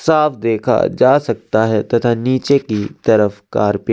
साफ़ देखा जा सकता है तथा नीचे की तरफ कार पी-